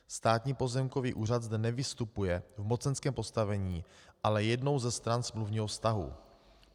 Státní pozemkový úřad zde nevystupuje v mocenském postavení, ale je jednou ze stran smluvního vztahu.